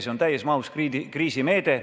See on täies mahus kriisimeede.